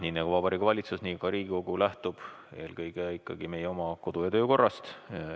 Nii nagu Vabariigi Valitsus, nii lähtub ka Riigikogu eelkõige meie oma kodu- ja töökorrast.